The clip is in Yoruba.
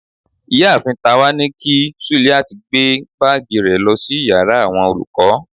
ìyáàfín tawa ní kí suliat gbe baagí re lo sí íyarà awọn olukọ